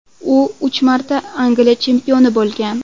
U uch marta Angliya chempioni bo‘lgan.